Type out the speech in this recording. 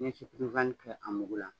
N bɛ kɛ a mugu la